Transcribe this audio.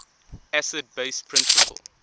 acid base principle